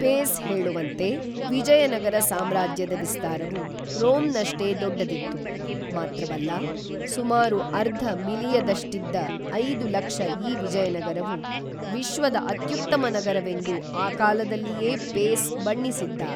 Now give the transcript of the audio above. phase ಹೇಳುವಂತೆ Vijayanagara ಸಾಮ್ರಾಜ್ಯದ ವಿಸ್ತಾರವು, ರೋಮ್‌ನಷ್ಟೇ ದೊಡ್ಡದಿತ್ತು, ಮಾತ್ರವಲ್ಲ, ಸುಮಾರು ಅರ್ಧ ಮಿಲಿಯದಷ್ಟಿದ್ದ ಐದು ಲಕ್ಷ ಈ ವಿಜಯನಗರವು ವಿಶ್ವದ ಅತ್ಯುತ್ತಮ ನಗರವೆಂದು ಆ ಕಾಲದಲ್ಲಿಯೇ ಪೇಸ್ ಬಣ್ಣಿಸಿದ್ದ